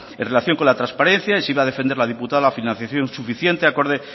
en relación con la transparencia y si iba a defender la diputada la financiación suficiente acorde